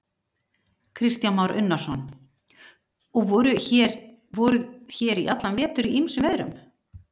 Kristján Már Unnarsson: Og voruð hér í allan vetur í ýmsum veðrum?